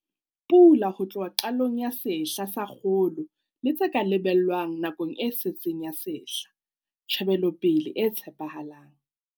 Pula ho tloha qalong ya sehla sa kgolo le tse ka lebellwang nakong e setseng ya sehla, Tjhebelopele e tshepahalang.